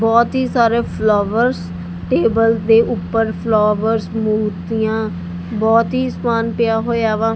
ਬੋਹੁਤ ਹੀ ਸਾਰੇ ਫਲੋਵਰਸ ਟੇਬਲ ਦੇ ਊਪਰ ਫਲੋਵਰਸ ਮੂਰਤੀਆਂ ਬੋਹੁਤ ਹੀ ਸਮਾਨ ਪਿਆ ਹੋਇਆ ਵਾ।